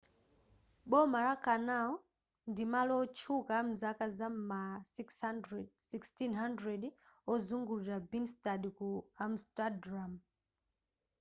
boma la canal chidatchi: grachtengordel ndi malo otchuka amzaka za ma 1600 ozungulira binnestad ku amsterdam